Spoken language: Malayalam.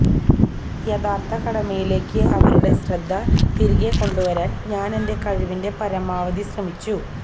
യഥാർത്ഥ കടമയിലേക്ക് അവരുടെ ശ്രദ്ധ തിരികെ കൊണ്ടുവരാൻ ഞാനെന്റെ കഴിവിന്റെ പരമാവധി ശ്രമിച്ചു